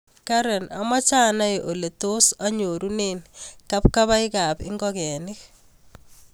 Karen amache anai ole tos anyorunen kabkabaik ab ingogenik